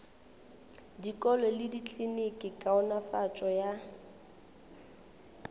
dikolo le dikliniki kaonafatšo ya